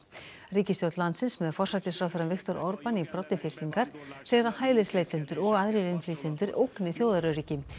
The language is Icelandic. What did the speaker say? ríkisstjórn landsins með forsætisráðherrann Viktor í broddi fylkingar segir að hælisleitendur og aðrir innflytjendur ógni þjóðaröryggi